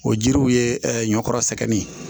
O jiriw ye ɛ ɲɔkura sɛgɛn nin ye